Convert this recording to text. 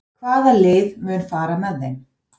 Hvaða lið mun fara með þeim?